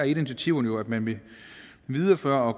initiativerne jo at man vil videreføre og